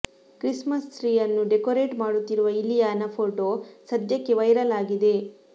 Christmas tree ಅನ್ನು decorate ಮಾಡುತ್ತಿರುವ Ileana photo ಸದ್ಯಕ್ಕೆ ವೈರಲ್ ಆಗಿದೆ